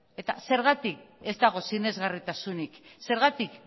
zergatik ez dago sinesgarritasunik zergatik